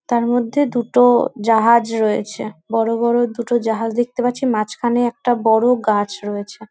তার মধ্যে দুটো জাহাজ রয়েছে। বড়ো বড়ো দুটো জাহাজ দেখতে পাচ্ছি মাঝখানে একটা বড়ো গাছ রয়েছে ।